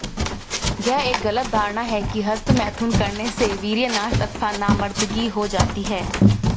यह एक गलत धारणा है कि हस्तमैथुन करने से वीर्यनाश अथवा नामर्दगी हो जाती है